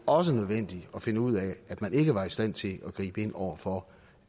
også nødvendigt at finde ud af at man ikke var i stand til at gribe ind over for